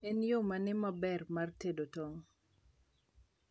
en yo mane maber mar tedo tong